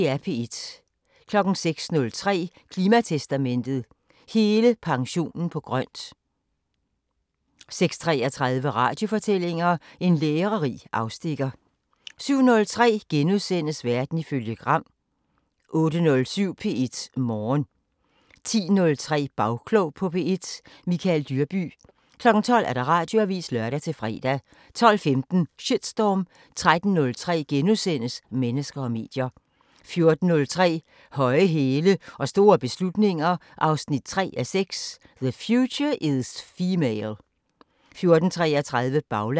06:03: Klimatestamentet: Hele pensionen på grøn! 06:33: Radiofortællinger: En lærerig afstikker 07:03: Verden ifølge Gram * 08:07: P1 Morgen 10:03: Bagklog på P1: Michael Dyrby 12:00: Radioavisen (lør-fre) 12:15: Shitstorm 13:03: Mennesker og medier * 14:03: Høje hæle og store beslutninger 3:6 – The future is female 14:33: Baglandet